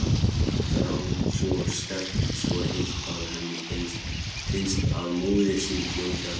Þrá svo sterk, svo heit, að henni finnst að móðir sín hljóti að birtast.